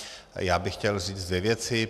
Já bych chtěl říct dvě věci.